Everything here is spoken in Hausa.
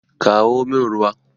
Kawo min ruwa!